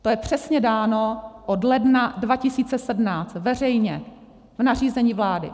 To je přesně dáno od ledna 2017 veřejně v nařízení vlády.